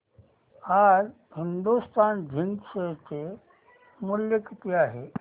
आज Hindustan Zinc share चे मूल्य किती आहे